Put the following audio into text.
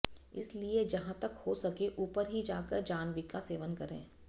इसलिए जहां तक हो सके ऊपर ही जाकर जाह्नवीका सेवन करे